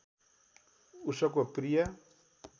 उसको प्रिय